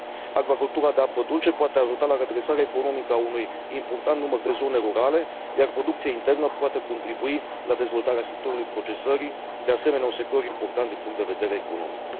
Acvacultura de apă dulce poate ajuta la redresarea economică a unui important număr de zone rurale, iar producția internă poate contribui la dezvoltarea sectorului procesării, de asemenea un sector important din punct de vedere economic.